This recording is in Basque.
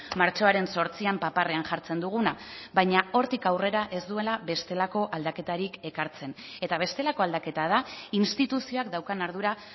martxoaren zortzian paparrean jartzen duguna baina hortik aurrera ez duela bestelako aldaketarik ekartzen eta bestelako aldaketa da instituzioak daukan ardura